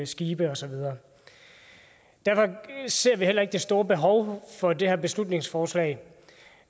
skibe og så videre derfor ser vi heller ikke det store behov for det her beslutningsforslag